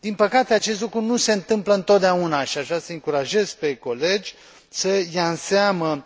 Din păcate, acest lucru nu se întâmplă întotdeauna și aș vrea să îi încurajez pe colegi să ia în seamă,